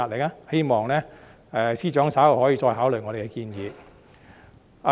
我希望司長稍後可以再考慮我們的建議。